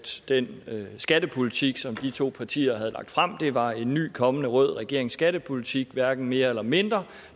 den skattepolitik som de to partier havde lagt frem var en ny kommende rød regerings skattepolitik hverken mere eller mindre og